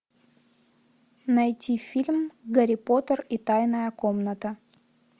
найти фильм гарри поттер и тайная комната